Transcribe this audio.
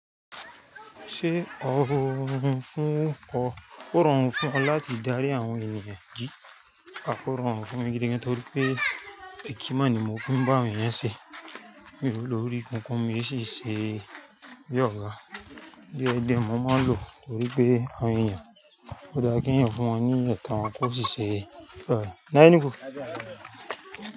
Ṣé ó rọrùn fún ọ, ò rọrùn fún ọ láti darí àwọn ènìyàn jí? A kò rọrùn fún mi gidi gan torí pé èkímà ni mo fi ń bá àwọn ènìyàn ṣe. Mi ò lórí kankan, mo sì ń ṣe bí Ọlọ́run. Diẹ díẹ̀ mo máa ń lò torí pé àwọn ènìyàn kò dá kí ẹ̀yin fún wọn ní ẹ̀tàn wọn kò sì ṣe bí wọ́n. Láínìkú.